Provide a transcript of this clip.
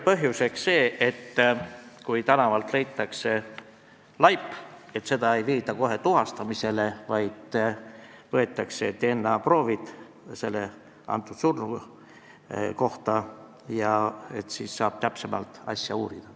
Põhjuseks oli see, et kui tänavalt leitakse laip, siis seda ei viida kohe tuhastamisele, vaid surnult võetakse DNA-proovid ja siis saab täpsemalt asja uurida.